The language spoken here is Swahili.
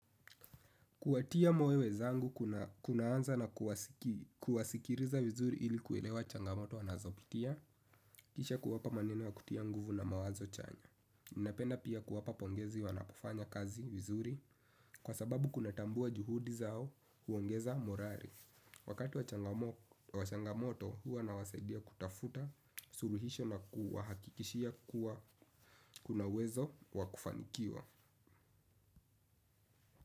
Kuwatia moyo wenzangu kunaanza na kuwasikiliza vizuri ili kuelewa changamoto wanazopitia, kisha kuwapa maneno ya kutia nguvu na mawazo chanya. Ninapenda pia kuwapa pongezi wanapofanya kazi vizuri kwa sababu kuna tambua juhudi zao huongeza morali. Wakati wa changamoto huwa nawasaidia kutafuta suluhisho na kuwahakikishia kuwa kuna uwezo wakufanikiwa.